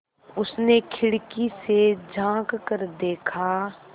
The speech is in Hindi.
उसने खिड़की से झाँक कर देखा